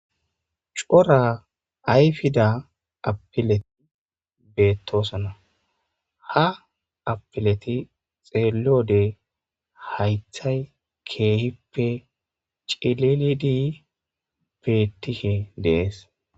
C'ora ayfida apile betosona ha apileti dheliyode haytay kehipe c'ililidi betishe de'es.